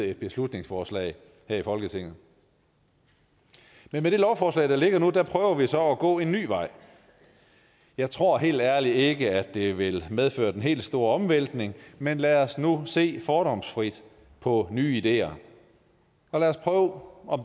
et beslutningsforslag her i folketinget men med det lovforslag der ligger nu prøver vi så at gå en ny vej jeg tror helt ærligt ikke at det vil medføre den helt store omvæltning men lad os nu se fordomsfrit på nye ideer og lad os prøve om